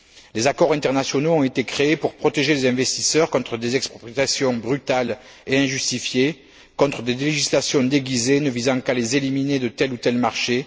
Des accords internationaux ont été créés pour protéger les investisseurs contre des expropriations brutales et injustifiées, contre des législations déguisées ne visant qu'à les éliminer de tel ou tel marché.